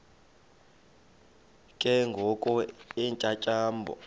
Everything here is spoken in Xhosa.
ke ngoko iintyatyambo